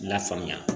Lafaamuya